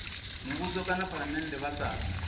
muvhuso kana phalamennde vha sa